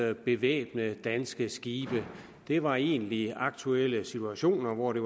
at bevæbne danske skibe det var egentlige aktuelle situationer hvor det